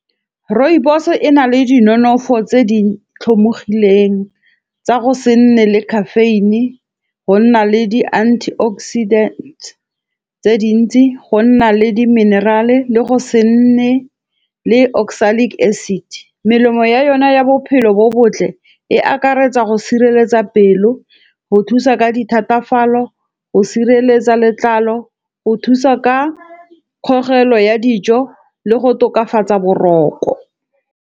Rooibos e na le di nonofo tse di tlhomogileng tsa go se nne le caffeine. Go nna le di-antioxidant tse dintsi. Go nna le di-mineral-e le go se nne le oxalic acid. Melemo ya yona ya bophelo bo botle e akaretsa go sireletsa pelo, go thusa ka dithatafalo, go sireletsa letlalo, go thusa ka kgogelo ya dijo le go tokafatsa boroko.